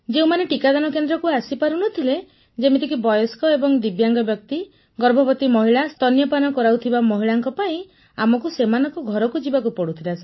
ଯେଉଁମାନେ ଟିକାଦାନ କେନ୍ଦ୍ରକୁ ଆସିପାରୁ ନ ଥିଲେ ଯେମିତିକି ବୟସ୍କ ଏବଂ ଦିବ୍ୟାଙ୍ଗ ବ୍ୟକ୍ତି ଗର୍ଭବତୀ ମହିଳା ସ୍ତନ୍ୟପାନ କରାଉଥିବା ମହିଳାଙ୍କ ପାଇଁ ଆମକୁ ସେମାନଙ୍କ ଘରକୁ ଯିବାକୁ ପଡୁଥିଲା ସାର୍